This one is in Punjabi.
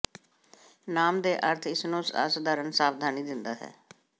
ਨਾਮ ਦੇ ਅਰਥ ਇਸ ਨੂੰ ਅਸਧਾਰਨ ਸਾਵਧਾਨੀ ਦਿੰਦਾ ਹੈ